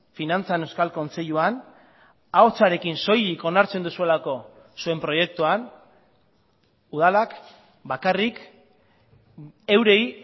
finantzan euskal kontseiluan ahotsarekin soilik onartzen duzuelako zuen proiektuan udalak bakarrik eurei